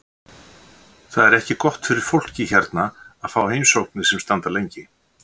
Það er ekki gott fyrir fólkið hérna að fá heimsóknir sem standa lengi.